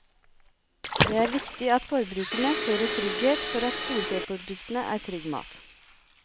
Det er viktig at forbrukerne føler trygghet for at storfeproduktene er trygg mat.